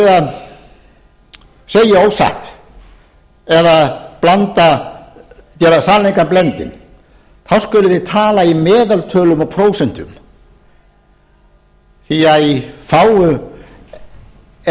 að segja ósatt eða gera sannleikann blendinn þá skuluð þið tala í meðaltölum og prósentum því að í fáu er